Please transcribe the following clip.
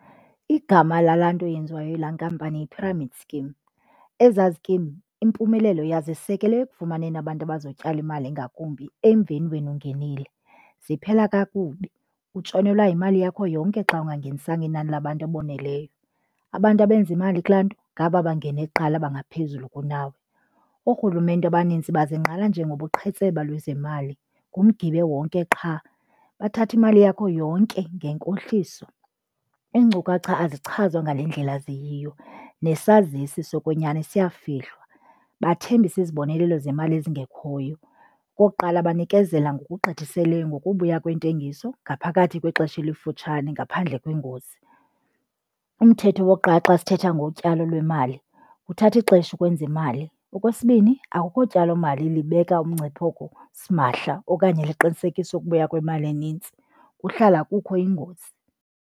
Igama lalaa nto yenziwa yilaa nkampani yi-pyramid scheme. Eza zikimu impumelelo yazo isekelwe ekufumaneni abantu abazotyala imali ngakumbi emveni wena ungenile. Ziphela kakubi, utshonelwea yimali yakho yonke xa ungangenisanga inani labantu aboneleyo. Abantu abenza imali kulaa nto ngaba bangene kuqala bangaphezulu kunawe. Orhulumente abanintsi bazingqala njengobuqhetseba lwezemali, ngumgibe wonke qha. Bathatha imali yakho yonke ngenkohliso, iinkcukacha azichazwa ngale ndlela ziyiyo, nesazisi sokwenyani siyafihlwa, bathembisa izibonelelo zemali ezingekhoyo. Okokuqala, banikezela ngokugqithiseleyo ngokubuya kwentengiso ngaphakathi kwexesha elifutshane ngaphandle kwengozi. Umthetho wokuqala xa sithetha ngotyalo lwemali, kuthatha ixesha ukwenza imali. Okwesibini, akukho tyalomali libeka umngcipheko simahla okanye liqinisekise ukubuya kwemali enintsi, kuhlala kukho ingozi.